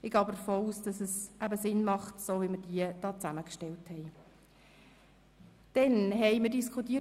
Ich gehe aber davon aus, dass der Ablauf, so wie wir diesen vorbereitet haben, Sinn macht.